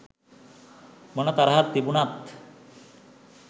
මොන තරහක් තිබුණත්